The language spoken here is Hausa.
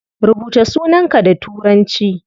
Rubuta sunanka da turanci